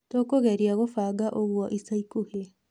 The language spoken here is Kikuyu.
Tũkũgeria gũbanga ũguo ica ikuhĩ.